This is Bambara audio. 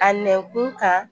A nɛn kun kan